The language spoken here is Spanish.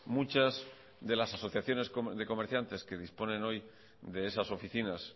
muchas de las asociaciones de comerciantes que disponen hoy de esas oficinas